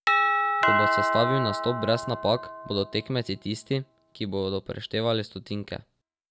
Ko bo sestavil nastop brez napak, bodo tekmeci tisti, ki bodo preštevali stotinke.